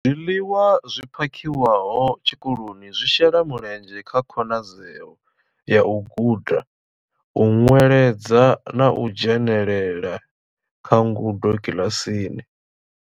Zwiḽiwa zwi phakhiwaho tshikoloni zwi shela mulenzhe kha khonadzeo ya u guda, u ṅweledza na u dzhenela kha ngudo kiḽasini.